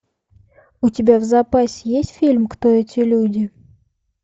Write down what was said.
у тебя в запасе есть фильм кто эти люди